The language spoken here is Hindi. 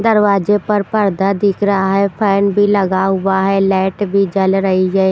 दरवाजे पर पर्दा दिख रहा है फैन भी लगा हुआ है लाइट भी जल रही है।